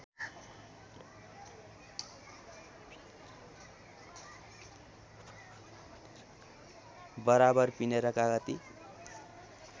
बराबर पिनेर कागती